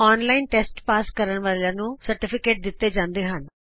online test pass ਕਰਨ ਵਾਲਿਆਂ ਨੂੰ ਸਰਟੀਫਿਕੇਟ ਦਿਤਾ ਜਾਂਦਾ ਹੈ